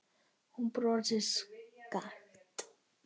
Hún brosir skakkt.